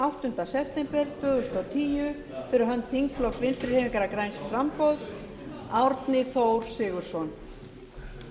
áttunda september tvö þúsund og tíu fh þingflokks vinstri hreyfingarinnar græns framboðs árni þór sigurðsson